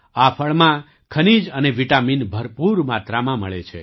આ ફળમાં ખનીજઅને વિટામીન ભરપૂર માત્રામાં મળે છે